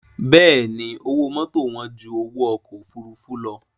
Bẹ́ẹ̀ni owó mọ́tò wán ju owó ọkọ̀ òfuurufú lọ